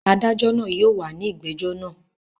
Adájọ́ náà yóò wà ní ìgbẹ́jọ́ náà.